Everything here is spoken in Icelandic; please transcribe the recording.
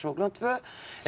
klukkan tvö